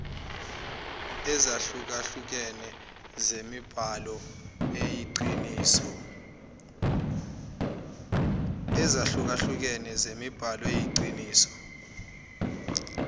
ezahlukehlukene zemibhalo eyiqiniso